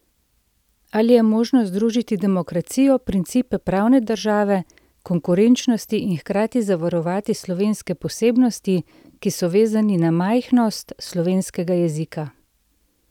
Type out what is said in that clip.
Ali je možno združiti demokracijo, principe pravne države, konkurenčnosti in hkrati zavarovati slovenske posebnosti, ki so vezane na majhnost slovenskega jezika?